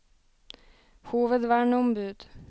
hovedverneombud